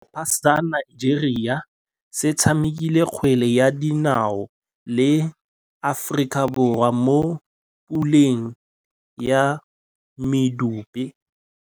Setlhopha sa Nigeria se tshamekile kgwele ya dinaô le Aforika Borwa mo puleng ya medupe.